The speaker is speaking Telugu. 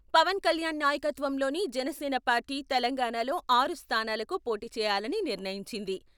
పవన్ కళ్యాణ్ నాయకత్వంలోని జనసేన పార్టీ తెలంగాణలో ఆరు స్థానాలకు పోటీ చేయాలని నిర్ణయించింది.